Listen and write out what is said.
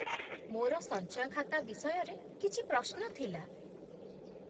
ମୋର ସଞ୍ଚୟ ଖାତା ବିଷୟରେ କିଛି ପ୍ରଶ୍ନ ଥିଲା